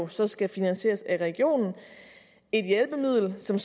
så skal finansieres af regionen et hjælpemiddel som